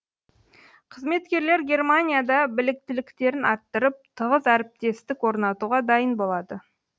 қызметкерлер германияда біліктіліктерін арттырып тығыз әріптестік орнатуға дайын болады